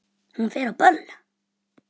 Hún fer á böll!